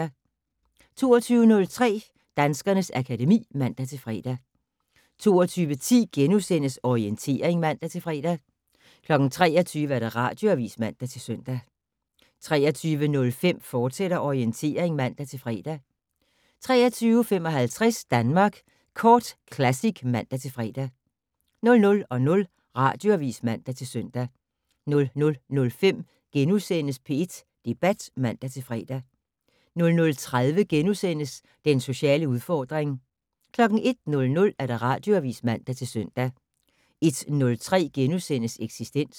22:03: Danskernes akademi (man-fre) 22:10: Orientering *(man-fre) 23:00: Radioavis (man-søn) 23:05: Orientering, fortsat (man-fre) 23:55: Danmark Kort Classic (man-fre) 00:00: Radioavis (man-søn) 00:05: P1 Debat *(man-fre) 00:30: Den sociale udfordring * 01:00: Radioavis (man-søn) 01:03: Eksistens *